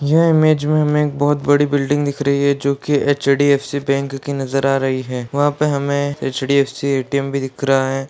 यह इमेज में हमें बहुत बड़ी बिल्डिंग दिख रही है जो की एच.डी.एफ.सी. बैंक की नजर आ रही है वहाँ पे हमें एच.डी.एफ.सी. ए.टी.एम. भी दिख रहा है।